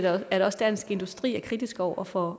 er at også dansk industri er kritisk over for